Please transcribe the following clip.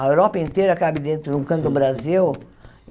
A Europa inteira cabe dentro de um canto do Brasil.